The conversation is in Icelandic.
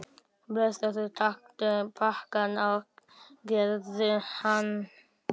Blessaður, taktu pakkann og eigðu hann.